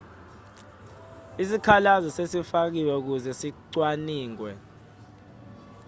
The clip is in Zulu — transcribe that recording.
isikhalazo sesifakiwe ukuze sicwaningwe